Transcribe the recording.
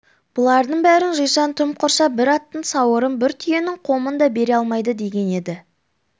бұлардың бәрін жисаң тым құрса бір аттың сауырын бір түйенің қомын да бере алмайды деген еді